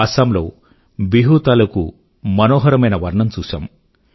అసమ్ లో బిహు తాలూకూ మనోహరమైన వర్ణం చూశాము